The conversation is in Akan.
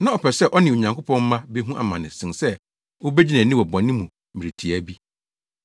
Na ɔpɛ sɛ ɔne Onyankopɔn mma behu amane sen sɛ obegye nʼani wɔ bɔne mu mmere tiaa bi.